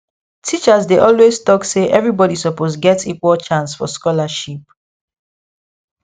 teachers dey always talk say everybody suppose get equal chance for scholarship